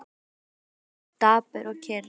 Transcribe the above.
Hann horfði á okkur, dapur og kyrr.